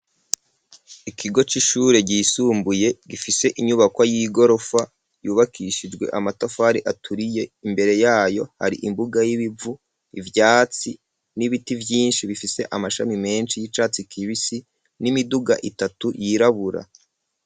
Ikigo c'ishure, ryisumbuye, gifise inyubakwa y'igorofa, yubakishijwe amatafari aturiye; imbere yayo, hari imbuga y'ibivu, ivyatsi, n'ibiti vyinshi, bifise amashami menshi, y'icatsi kibisi, n'imiduga itatu, yirabura.